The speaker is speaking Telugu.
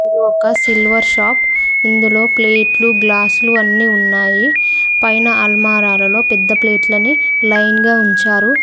ఒక సిల్వర్ షాప్ ఇందులో ప్లేట్లు గ్లాసులు అన్ని ఉన్నాయి పైన అల్మారాలలో పెద్ద ప్లేట్లని లైన్ గా ఉంచారు